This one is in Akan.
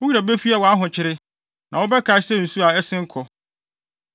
Wo werɛ befi wʼahokyere, na wɔbɛkae no sɛ nsu a asen kɔ.